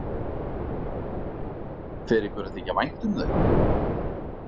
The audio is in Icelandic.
Fer ykkur að þykja vænt um þau?